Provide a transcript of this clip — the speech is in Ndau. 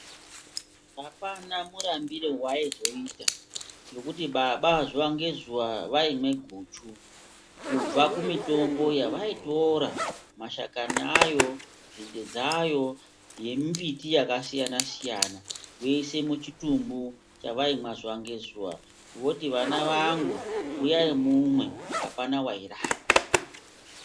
Apana murambire wa ayi zoita ngekuti baba zuva nge zuva vaimwe guchu kubva ku mitombo yavai tora mashakani ayo nzinde dzayo ne mbiti yaka siyana siyana voise mu chitumbu chavaimwa zuva nge zuva voti vana vangu uyai mumwe apana wairamba.